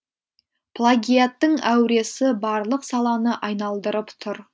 плагиаттың әуресі барлық саланы айналдырып тұр